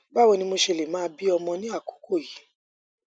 báwo ni mo ṣe lè máa bí ọmọ ní àkókò yìí